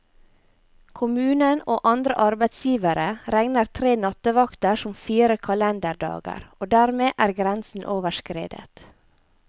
Kommunen og andre arbeidsgivere regner tre nattevakter som fire kalenderdager, og dermed er grensen overskredet.